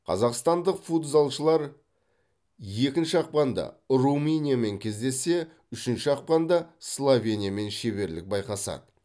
қазақстадық футзалшылар екінші ақпанда румыниямен кездессе үшінші ақпанда словениямен шеберлік байқасады